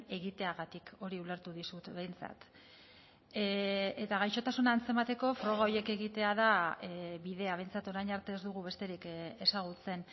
egiteagatik hori ulertu dizut behintzat eta gaixotasuna antzemateko froga horiek egitea da bidea behintzat orain arte ez dugu besterik ezagutzen